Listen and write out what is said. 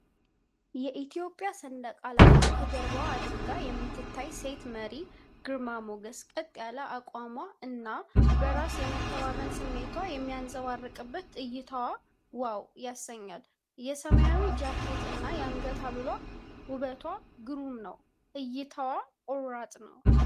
የኢትዮጵያ ሰንደቅ ዓላማን ከጀርባዋ አድርጋ የምትታይ ሴት መሪ ግርማ ሞገስ! ቀጥ ያለ አቋሟ እና በራስ የመተማመን ስሜት የሚንጸባረቅበት እይታዋ ዋው! ያሰኛል። የሰማያዊ ጃኬት እና የአንገት ሐብል ውቷ ግሩም ነው!። እይታዋም ቆራጥ ነው!።